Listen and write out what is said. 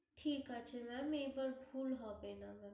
ঠিক আছে ma'am, এবার ভুল হবে না।